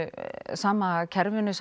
sama kerfinu